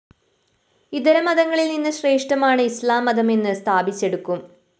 ഇതരമതങ്ങളില്‍നിന്ന് ശ്രേഷ്ഠമാണ് ഇസ്ലാം മതമെന്ന് സ്ഥാപിച്ചെടുക്കും